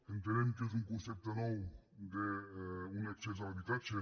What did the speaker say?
entenem que és un concepte nou d’un accés a l’habitatge